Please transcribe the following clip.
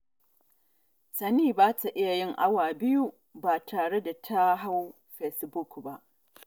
Tani ba ta iya yin awa biyu ba tare da ta hau fesbuk ba